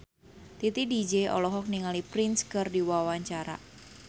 Titi DJ olohok ningali Prince keur diwawancara